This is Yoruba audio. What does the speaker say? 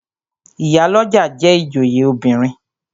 Ìyálọ́jà jẹ́ ìjòyè obìnrin.